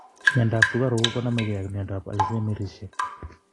Miondap sukaruk konamekei ak miondap alzheimersishek